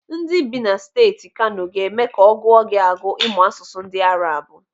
Ndị bị na Steeti Kano ga-eme ka ọ gụọ gị agụụ ịmụ asụsụ ndị Arabu.